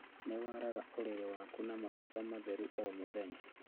Nĩwaraga ũrĩrĩ waku na macuka matheru o mũthenya